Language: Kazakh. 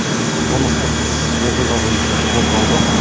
қылмыстық іс оқиға бойынша қозғалды